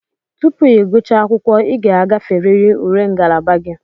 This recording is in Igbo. Tupu ị gụchaa akwụkwọ, ị ga-agaferịrị ule ngalaba gị.